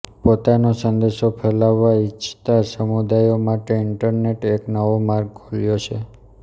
પોતાનો સંદેશો ફેલાવવા ઇચ્છતા સમુદાયો માટે ઈન્ટરનેટે એક નવો માર્ગ ખોલ્યો છે